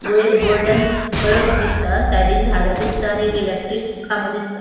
वैर गोल्डन कळस दिसता सायडींन झाडा दिसता आणि आणि एक इलेक्ट्रिक खामो दिसता.